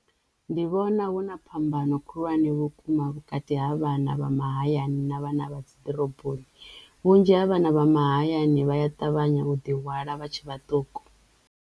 Ndi vhona huna phambano khulwane vhukuma vhukati ha vhana vha mahayani na vhana vha dziḓoroboni vhunzhi ha vhana vha mahayani vha ya ṱavhanya u ḓi hwala vha tshe vhaṱuku.